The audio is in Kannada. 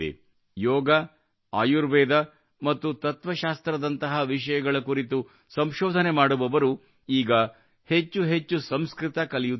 ಯೋಗ ಆಯುರ್ವೇದ ಮತ್ತು ತತ್ವ ಶಾಸ್ತ್ರದಂತಹ ವಿಷಯಗಳ ಕುರಿತು ಸಂಶೋಧನೆ ಮಾಡುವವರು ಈಗ ಹೆಚ್ಚು ಹೆಚ್ಚು ಸಂಸ್ಕೃತ ಕಲಿಯುತ್ತಿದ್ದಾರೆ